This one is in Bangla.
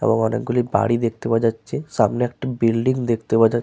এবং অনেকগুলি বাড়ি দেখতে পাওয়া যাচ্ছে। সামনে একটি বিল্ডিং দেখতে পাওয়া যা --